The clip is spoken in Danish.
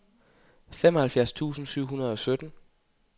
femoghalvfjerds tusind syv hundrede og sytten